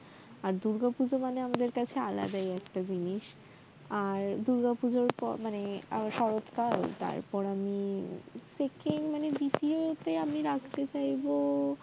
আর দুর্গা পূজা মানে আমাদের কাছে আলাদাই একটা জিনিস আর দুর্গাপূজা মানে শরত কাল তারপর আমি second মানে দ্বিতীয়তে আমি রাখতে চাইবো